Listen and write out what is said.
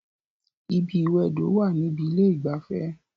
Ibi ìwẹdò wà níbi ilé ìgbafẹ́